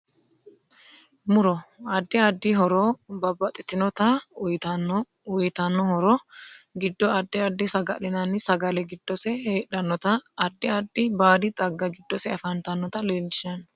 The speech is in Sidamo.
Muro adid addi horo babbaxitinota uyiitanno uyiitanno horo giddo addi addi sagali'naani sagale giddose heedhanotanna addi addi baadi xagga giddose afantanota leelishanno